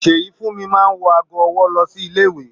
Seyifunmi máa n wọ aago ọwọ lọ sílé ìwé